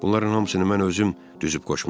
Bunların hamısını mən özüm düzüb-qoşmuşdum.